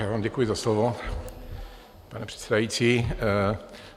Já vám děkuji za slovo, pane předsedající.